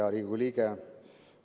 Hea Riigikogu liige!